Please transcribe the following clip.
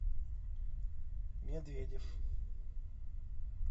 медведев